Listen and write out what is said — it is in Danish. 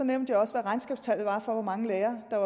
nævnte jeg også hvad regnskabstallene var for hvor mange lærere der